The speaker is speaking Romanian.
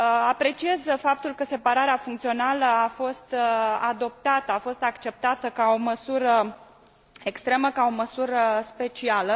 Apreciez faptul că separarea funcțională a fost adoptată, a fost acceptată ca o măsură extremă, ca o măsură specială.